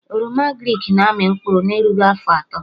Oroma agrịk na-amị mkpụrụ na erughị afọ atọ